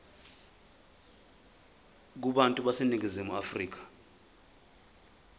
kubantu baseningizimu afrika